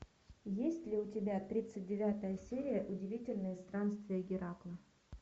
есть ли у тебя тридцать девятая серия удивительные странствия геракла